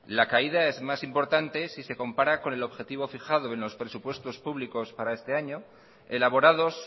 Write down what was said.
la caída es más importante si se compara con el objetivo fijado en los presupuestos públicos para este año elaborados